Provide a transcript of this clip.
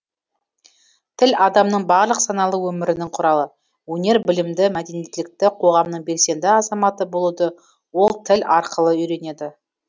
тіл адамның барлық саналы өмірінің құралы өнер білімді мәдениеттілікті қоғамның белсенді азаматы болуды ол тіл арқылы үйренеді